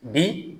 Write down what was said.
Bi